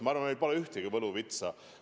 Ma arvan, meil pole ühtegi võluvitsa.